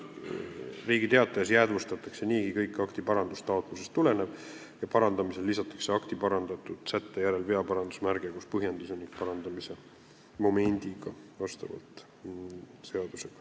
Riigi Teatajas jäädvustatakse niigi kõik akti parandamise taotlusest tulenev ja vastavalt seadusele lisatakse parandamisel akti parandatud sätte järel veaparandusmärge koos põhjenduse ja parandamise momendiga.